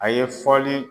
A ye fɔli